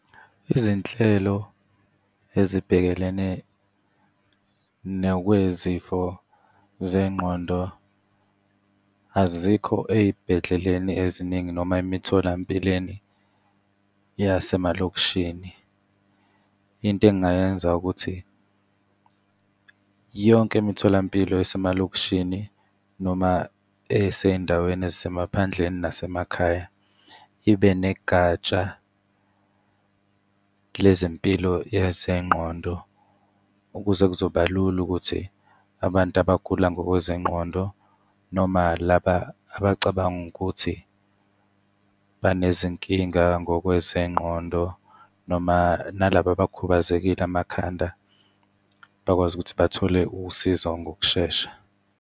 Izinhlelo ezibhekelene nokwezifo zengqondo azikho ey'bhedleleni eziningi noma emitholampilweni yase emalokishini. Into engingayenza ukuthi yonke imitholampilo esemalokishini noma esey'ndaweni ezisemaphandleni nasemakhaya ibe negatsha lezempilo yezengqondo ukuze kuzoba lula ukuthi abantu abagula ngokwezengqondo, noma laba abacabanga ukuthi banezinkinga ngokwezengqondo, noma nalaba abakhubazekile amakhanda bakwazi ukuthi bathole usizo ngokushesha.